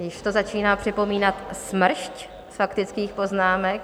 Už to začíná připomínat smršť faktických poznámek.